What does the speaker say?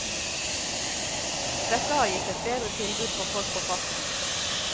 Dette har gitt et bedre tilbud for folk på farten.